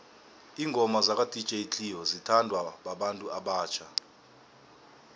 ingoma zaka dj cleo zithanwa babantu abatjha